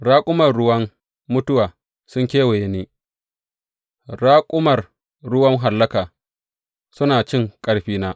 Raƙumar ruwan mutuwa sun kewaye ni; raƙumar ruwan hallaka suna cin ƙarfina.